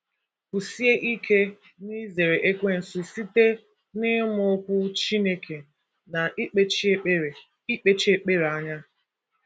Kwụsie ike n'izere Ekwensu site n’ịmụ Okwu Chineke na ikpechi ekpere ikpechi ekpere anya